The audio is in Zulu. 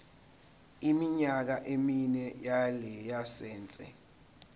iminyaka emine yelayisense